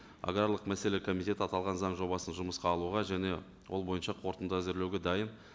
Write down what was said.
аграрлық мәселе комитеті аталған заң жобасын жұмысқа алуға және ол бойынша қорытынды әзірлеуге дайын